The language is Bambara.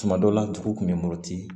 Tuma dɔw la dugu tun bɛ muruti